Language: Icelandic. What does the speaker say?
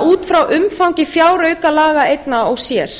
út frá umfangi fjáraukalaga einna og sér